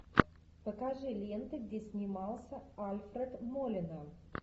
покажи ленты где снимался альфред молина